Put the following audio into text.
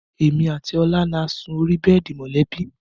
Èmi àti Ọlá ni a sí orí bẹ́ẹ̀dì mọ̀lẹ́bí